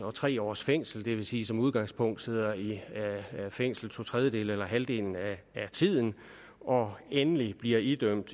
og tre års fængsel det vil sige som udgangspunkt sidder i fængsel to tredjedele eller halvdelen af tiden og endelig bliver idømt